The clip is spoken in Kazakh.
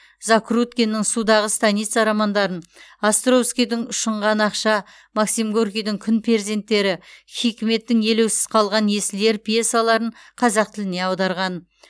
закруткиннің судағы станица романдарын островскийдің ұшынған ақша горкийдің күн перзенттері хикметтің елеусіз қалған есіл ер пьесаларын қазақ тіліне аударған